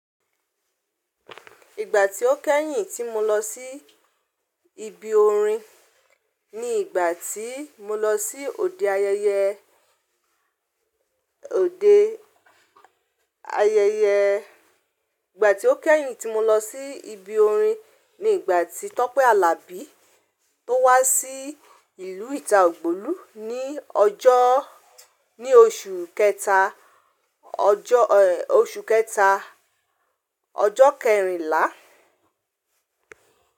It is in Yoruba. Ìgbà tí ó kẹ́yìn tí mo lọ sí ibi orin ni ìgbà tí mo lọ sí òde ayẹyẹ, òde ayẹyẹ, ìgbà tí ó kẹ́yìn tí mo lọ sí ibi orin ni ìgbà tí Tọ́pẹ́ Àlàbí tó wá sí ìlú ìta ògbulu ní ọjọ́, ní oṣù kẹta, ọjọ́ ẹ́, oṣù kẹta, ọjọ́ kẹrìnlá.